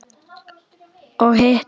Og hitt?